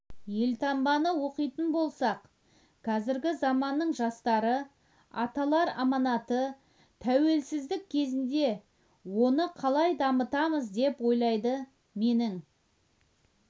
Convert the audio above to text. елтаңбаны оқитын болсақ қазіргі заманның жастары аталар аманаты тәуелсіздік кезінде оны қалай дамытамыз деп ойлайды менің